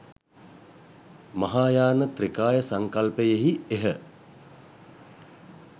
මහායාන ත්‍රිකාය සංකල්පයෙහි එහ